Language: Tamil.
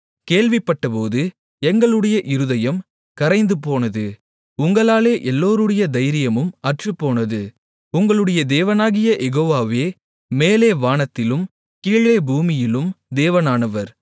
கேள்விப்பட்டபோது எங்களுடைய இருதயம் கரைந்துபோனது உங்களாலே எல்லோருடைய தைரியமும் அற்றுப்போனது உங்களுடைய தேவனாகிய யெகோவாவே மேலே வானத்திலும் கீழே பூமியிலும் தேவனானவர்